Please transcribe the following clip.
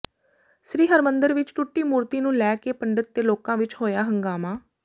ਸ੍ਰੀ ਹਰੀ ਮੰਦਰ ਵਿਚ ਟੁੱਟੀ ਮੂਰਤੀ ਨੂੰ ਲੈ ਕੇ ਪੰਡਿਤ ਤੇ ਲੋਕਾਂ ਵਿਚ ਹੋਇਆ ਹੰਗਾਮਾ